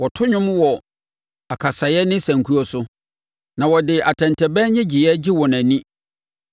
Wɔto nnwom wɔ akasaeɛ ne sankuo so; na wɔde atɛntɛbɛn nnyegyeeɛ gye wɔn ani.